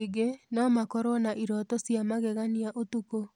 Ningĩ, no makorũo na iroto cia magegania ũtukũ.